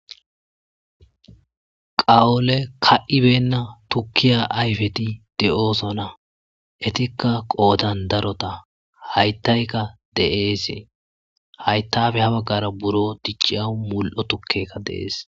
qawole ka77ibenna tukkiya ayfeti de7oosona. Etikka qoodan darota hayttayka de7eese. hayttafe ha baggara buro dicciyaw mul7o tukkeka de7ees.